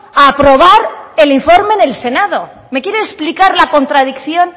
grabazio akatsa me quiere explicar la contradicción